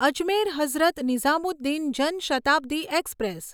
Ajmer Hazrat Nizamuddin Jan Shatabdi express